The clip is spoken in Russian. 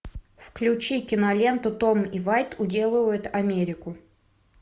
включи киноленту том и вайт уделывают америку